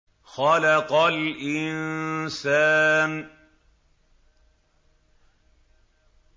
خَلَقَ الْإِنسَانَ